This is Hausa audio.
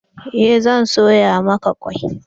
Eh zan soya maka kwai.